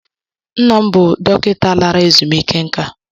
Nna m bụ dọkịta lara ezumike nká.